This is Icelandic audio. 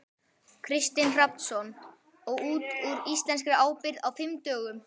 Kristinn Hrafnsson: Og út úr íslenskri ábyrgð á fimm dögum?